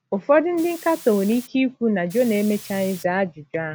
Ụfọdụ ndị nkatọ nwere ike ikwu na Jona emechaghị zaa ajụjụ ahụ.